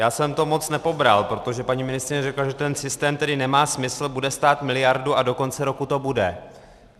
Já jsem to moc nepobral, protože paní ministryně řekla, že ten systém tedy nemá smysl, bude stát miliardu a do konce roku to bude.